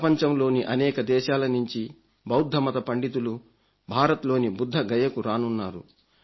ప్రపంచంలోని అనేక దేశాల నుంచి బౌద్ధమత పండితులు భారత్లోని బుద్ధగయకు రానున్నారు